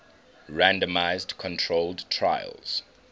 randomized controlled trials